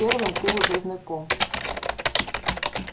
с первым ты уже знаком